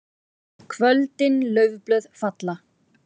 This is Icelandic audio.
KVÖLDIN LAUFBLÖÐ FALLA.